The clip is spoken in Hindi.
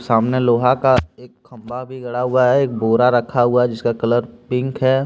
सामने लोहा का एक खंभा भी गढ़ा हुआ है एक बोरा रखा हुआ है जिसका कलर पिंक है।